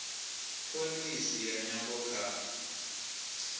pholisi ya nyambo kha